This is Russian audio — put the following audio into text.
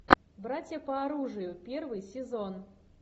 братья по оружию первый сезон